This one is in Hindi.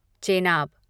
चेनाब